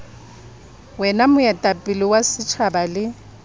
wena moetapele wa setjhaba le